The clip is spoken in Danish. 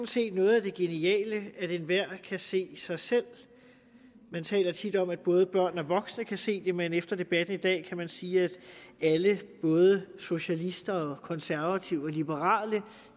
set noget af det geniale nemlig at enhver kan se sig selv man taler tit om at både børn og voksne kan se det men efter debatten i dag kan man sige at alle både socialister og konservative og liberale